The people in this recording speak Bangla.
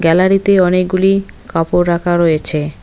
গ্যালারি -তে অনেকগুলি কাপড় রাখা রয়েছে।